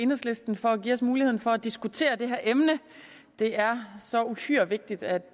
enhedslisten for at give os muligheden for at diskutere det her emne det er så uhyre vigtigt at